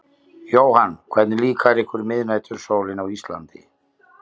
Jóhann: Hvernig líkar ykkur miðnætursólin á Íslandi?